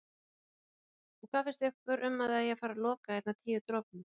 Þórhildur: Og hvað finnst ykkur um að það eigi að fara loka hérna Tíu dropum?